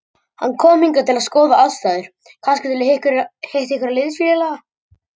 Hann kom hingað til að skoða aðstæður, kannski hitta einhverja liðsfélaga.